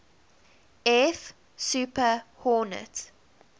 f super hornet